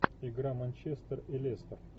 игра манчестер и лестер